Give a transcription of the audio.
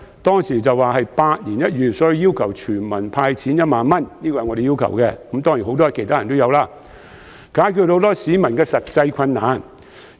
當時的情況可說是百年一遇，所以我和許多其他人都要求全民"派錢 "1 萬元，以解決很多市民的實際困難。